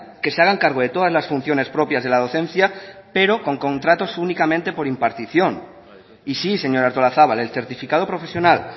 que se hagan cargo de todas las funciones propias de la docencia pero con contratos únicamente por impartición y sí señora artolazabal el certificado profesional